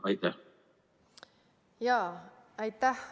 Aitäh!